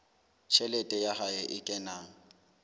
tjhelete ya hae e kenang